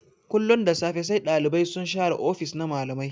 Kullun da safe sai Ɗalibai sun share ofis-ofis na malamai.